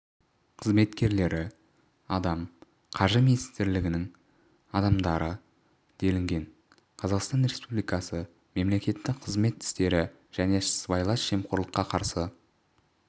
қызметкерлері адам қаржы министрлігінің адамдары делінген қазақстан республикасы мемлекеттік қызмет істері және сыбайлас жемқорлыққа қарсы